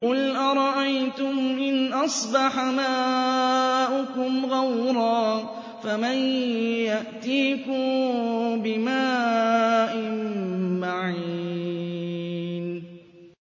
قُلْ أَرَأَيْتُمْ إِنْ أَصْبَحَ مَاؤُكُمْ غَوْرًا فَمَن يَأْتِيكُم بِمَاءٍ مَّعِينٍ